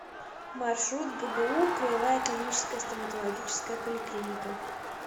маршрут гбу краевая клиническая стоматологическая поликлиника